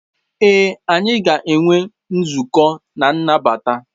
Ee, anyị ga-enwe nzukọ na nnabata.